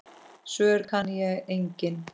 Svör kann ég engin.